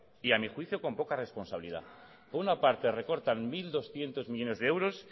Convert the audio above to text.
y a mi juicio con poca responsabilidad por una parte recortan mil doscientos millónes de euros